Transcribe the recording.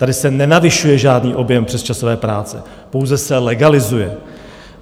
Tady se nenavyšuje žádný objem přesčasové práce, pouze se legalizuje.